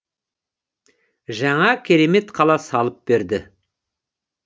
жаңа керемет қала салып берді